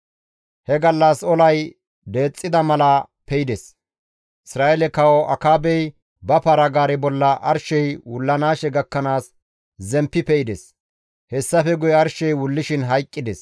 He gallas olay danxida mala pe7ides; Isra7eele kawo Akaabey ba para-gaare bolla arshey wullanaashe gakkanaas zemppi pe7ides; hessafe guye arshey wullishin hayqqides.